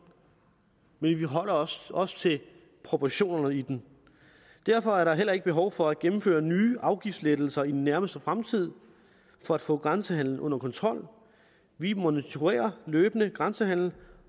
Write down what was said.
men vi forholder os også til proportionerne i den derfor er der heller ikke behov for at gennemføre nye afgiftslettelser i den nærmeste fremtid for at få grænsehandelen under kontrol vi monitorerer løbende grænsehandelen